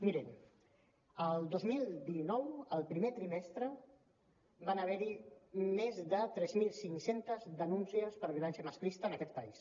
mirin el dos mil dinou el primer trimestre van haver hi més de tres mil cinc cents denúncies per violència masclista en aquest país